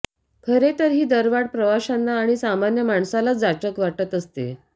खरे तर ही दरवाढ प्रवाशना आणि सामान्य माणसालाच जाचक वाटत असते